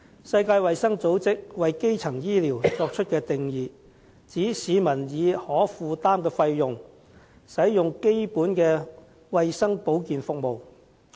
世界衞生組織為基層醫療作出的定義為：市民以可負擔的費用，使用的基本衞生保健服務。